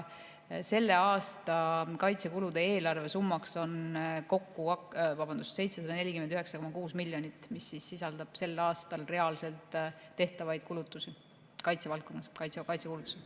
Selle aasta kaitsekulude eelarvesumma on kokku 749,6 miljonit, mis sisaldab sel aastal reaalselt tehtavaid kulutusi kaitsevaldkonnas, kaitsekulutusi.